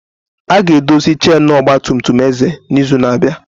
A ga-edozi chainu ọgba tum tum Eze n'izu na-abịa.